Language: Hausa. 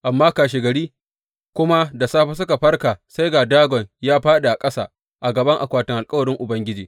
Amma kashegari kuma da safe suka farka sai ga Dagon ya fāɗi a ƙasa a gaban akwatin alkawarin Ubangiji!